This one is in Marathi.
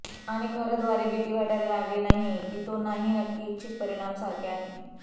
आणि खरं द्वारे भीती वाटायला लागली नाही की तो नाही नक्की इच्छित परिणाम सारखे आहे